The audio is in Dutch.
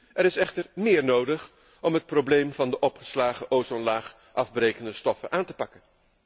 Er is echter meer nodig om het probleem van de opgeslagen ozonlaagafbrekende stoffen aan te pakken.